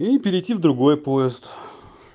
и перейти в другой поезд